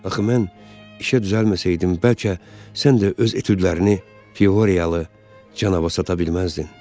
Axı mən işə düzəlməsəydim, bəlkə sən də öz etüdlərini Pioriyalı canavara sata bilməzdin.